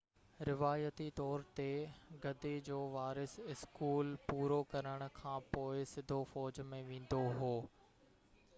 روايتي طور تي گدي جو وارث اسڪول پورو ڪرڻ کانپوءِ سڌو فوج ۾ ويندو هو